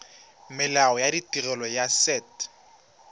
molao wa tirelo ya set